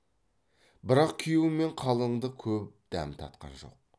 бірақ күйеу мен қалыңдық көп дәм татқан жоқ